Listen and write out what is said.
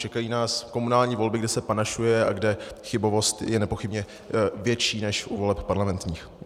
Čekají nás komunální volby, kde se panašuje a kde chybovost je nepochybně větší než u voleb parlamentních.